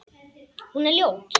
Hún er ljót.